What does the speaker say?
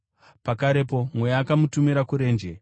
Pakarepo Mweya akamutumira kurenje,